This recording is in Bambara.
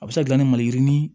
A bɛ se ka dilan ni maliyirini